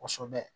Kosɛbɛ